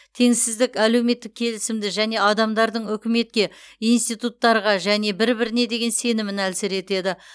теңсіздік әлеуметтік келісімді және адамдардың үкіметке институттарға және бір біріне деген сенімін әлсіретеді